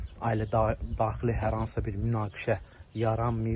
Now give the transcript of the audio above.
Ailə daxili hər hansısa bir münaqişə yaranmayıb.